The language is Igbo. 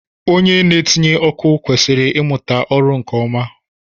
Onye na-etinye ọkụ kwesịrị imuta ọrụ nke ọma